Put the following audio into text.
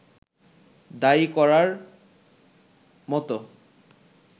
দায়ী করবার মতো